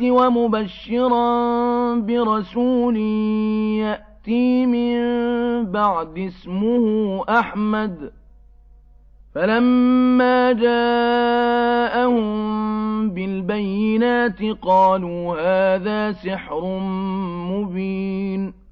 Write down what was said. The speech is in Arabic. وَمُبَشِّرًا بِرَسُولٍ يَأْتِي مِن بَعْدِي اسْمُهُ أَحْمَدُ ۖ فَلَمَّا جَاءَهُم بِالْبَيِّنَاتِ قَالُوا هَٰذَا سِحْرٌ مُّبِينٌ